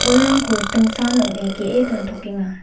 bolrangko ritingsan ong·e ge·e dontokenga.